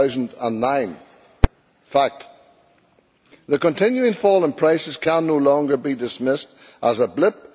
2009. Fact. The continuing fall in prices can no longer be dismissed as a blip.